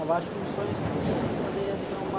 Eu acho que um sonho ciclístico poderia ser uma...